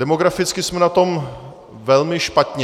Demograficky jsme na tom velmi špatně.